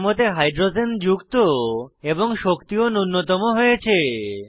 কাঠামোতে হাইড্রোজেন যুক্ত এবং শক্তি ও নুন্যতম হয়েছে